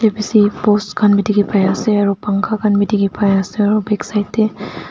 post khan pai ase aru pangkha khan te pai ase aru backside te.